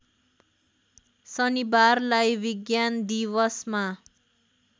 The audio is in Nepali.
शनिबारलाई विज्ञान दिवसमा